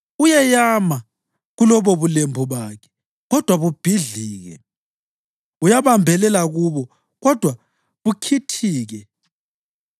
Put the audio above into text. Uyeyama kulobubulembu bakhe, kodwa bubhidlike; uyabambelela kubo, kodwa bukhithike.